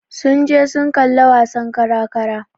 Sun je sun kalla wasan kara-kara.